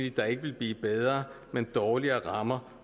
at der ikke vil blive bedre men dårligere rammer